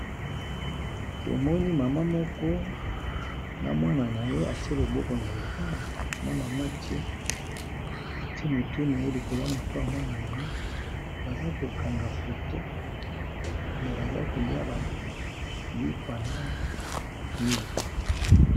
To moni mama moko na mwana na ye a tié loboko na litama, na mama a tie motu na ye likolo ya motu ya mwana na ye, baza ko kanga photo na baza kolia ba lipa na milk.